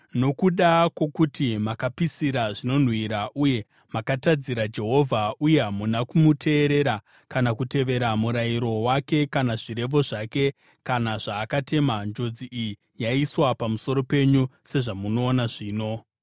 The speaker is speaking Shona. Nokuda kwokuti makapisira zvinonhuhwira uye makatadzira Jehovha uye hamuna kumuteerera kana kutevera murayiro wake kana zvirevo zvake kana zvaakatema, njodzi iyi yaiswa pamusoro penyu sezvamunoona zvino.”